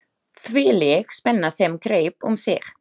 Þvílík spenna sem greip um sig!